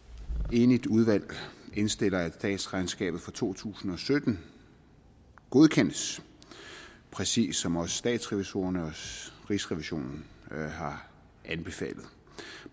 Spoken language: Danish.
enigt udvalg indstiller at statsregnskabet for to tusind og sytten godkendes præcis som også statsrevisorerne og rigsrevisionen har anbefalet